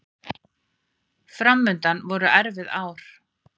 Framundan voru erfið ár.